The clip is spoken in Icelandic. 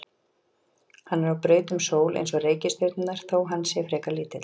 Hann er á braut um sól eins og reikistjörnurnar þó að hann sé frekar lítill.